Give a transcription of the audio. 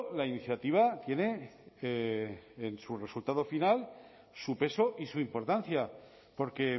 la iniciativa tiene en su resultado final su peso y su importancia porque